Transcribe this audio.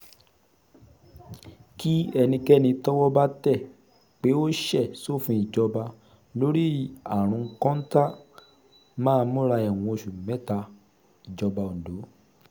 kí ẹnikẹ́ni tọ́wọ́ bá tẹ̀ pé ó ṣe sófin ìjọba lórí àrùn kọ́ńtà máa múra ẹ̀wọ̀n oṣù mẹ́tà- ìjọba ondo